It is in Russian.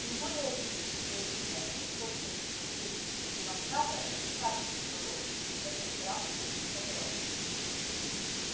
тем более обидно что из одних только сыновей плантаторов никак не сколотишь в этом графстве эскадрона